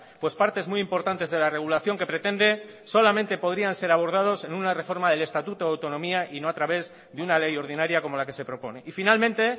pues partes muy importantes de la regulación que pretende solamente podrían ser abordados en una reforma del estatuto de autonomía y no a través de una ley ordinaria como la que se propone y finalmente